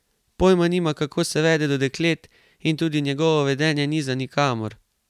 Pojma nima, kako se vede do deklet, in tudi njegovo vedenje ni za nikamor.